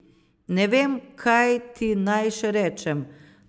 Ne vem, kaj ti naj še rečem.